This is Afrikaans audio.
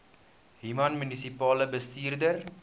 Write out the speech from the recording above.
human munisipale bestuurder